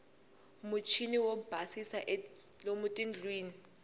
muchiniwo yo basisa lomu tindlwini